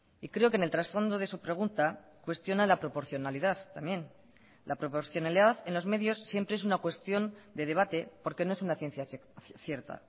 y creo que en el trasfondo de su pregunta cuestiona la proporcionalidad también la proporcionalidad en los medios siempre es una cuestión de debate porque no es una ciencia cierta